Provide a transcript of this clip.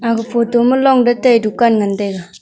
aga photo ma long datai dukan ngan taga.